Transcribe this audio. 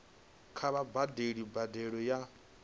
kha vha badele mbadelo ya